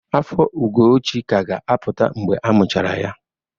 Afọ Ugochi ka ga-apụta mgbe amuchara ya.